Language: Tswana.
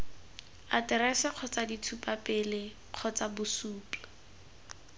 aterese kgotsa ditshupapele kgotsa bosupi